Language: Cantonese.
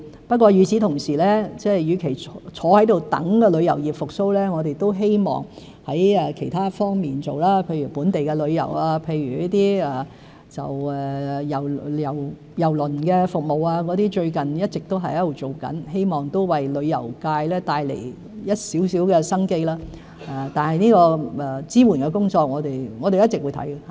不過，與此同時，與其坐在這裏等待旅遊業復蘇，我們都希望在其他方面做工作，譬如本地旅遊、郵輪服務，這些工作最近一直都在進行中，希望為旅遊界帶來一點生機，支援的工作會一直進行。